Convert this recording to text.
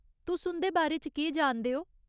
तुस उं'दे बारे च केह् जानदे ओ ?